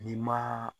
N'i ma